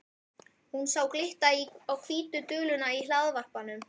Hún sá glitta á hvítu duluna í hlaðvarpanum.